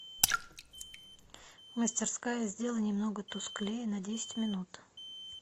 мастерская сделай немного тусклее на десять минут